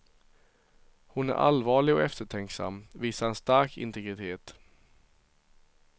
Hon är allvarlig och eftertänksam, visar en stark integritet.